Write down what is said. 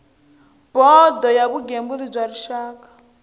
bodo ya vugembuli bya rixaka